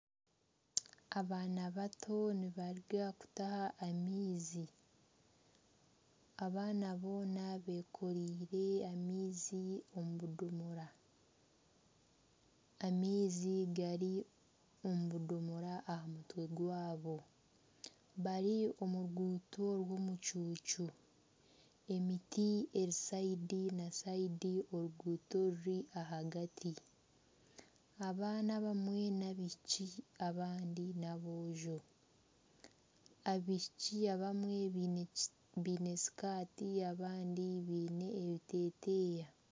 Abaana bato nibaruga kutaaha amaizi abaana boona bekoreire amaizi omu budomoora, amaizi gari omu budomoora aha mutwe gwabo bari omu ruguuto rw'omucuucu emiti eri sayidi na sayidi oruguuto ruri ahagati abaana abamwe n'abaishiki abandi n'aboojo, abaishiki abamwe bne sikaati abandi biine ebiteteeya.